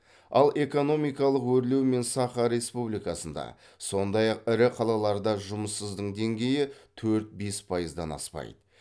ал экономикалық өрлеу мен саха республикасында сондай ақ ірі қалаларда жұмыссыздың деңгейі төрт бес пайыздан аспайды